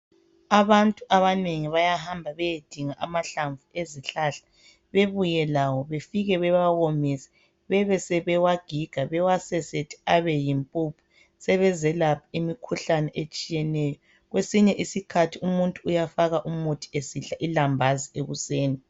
Abantu abanengi bayahamba beyedinga amahlamvu ezihlahla bebuye lawo befike bewawomise bebesebewagiga bawasesethe abe yimpuphu sebezelapha imikhuhlane etshiyeneyo. Kwesinye isikhathi umuntu uyafaka umuthi esidla ilambazi ekuseni